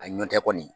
A ɲɔn tɛ kɔni